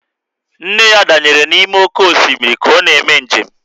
Nne ya danyere n'ime oké osimiri ka ọ na-eme njem